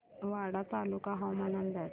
वाडा तालुका हवामान अंदाज